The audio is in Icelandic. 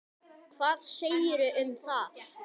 Hvað segirðu um það?